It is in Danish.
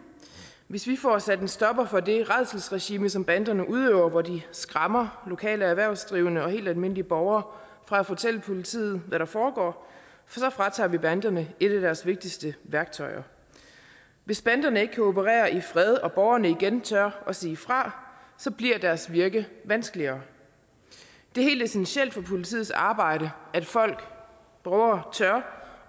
hvis vi får sat en stopper for det rædselsregime som banderne udøver hvor de skræmmer lokale erhvervsdrivende og helt almindelige borgere fra at fortælle politiet hvad der foregår så fratager vi banderne et af deres vigtigste værktøjer hvis banderne ikke kan operere i fred og borgerne igen tør at sige fra så bliver deres virke vanskeligere det er helt essentielt for politiets arbejde at folk vover